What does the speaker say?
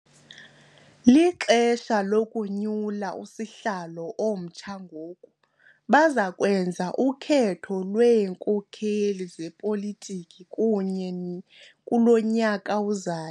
Lixesha lokunyula usihlalo omtsha ngoku. baza kwenza ukhetho lweenkokheli zepolitiki kulo nyaka uzayo